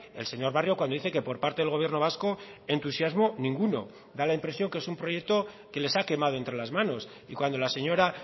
el señor barrio cuando dice que por parte del gobierno vasco entusiasmo ninguno da la impresión que es un proyecto que les ha quemado entre las manos y cuando la señora